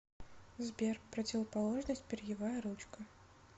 сбер противоположность перьевая ручка